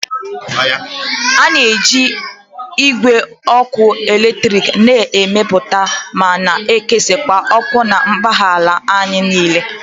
A na-eji igwe ọkụ eletrik na-emepụta ma na-ekesa ọkụ na mpaghara ala anyị niile